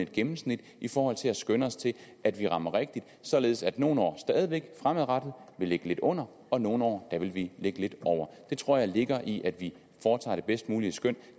gennemsnit i forhold til at skønne os til at vi rammer rigtigt således at vi nogle år stadig væk fremadrettet vil ligge lidt under og nogle år vil vi ligge lidt over det tror jeg ligger i at vi foretager det bedst mulige skøn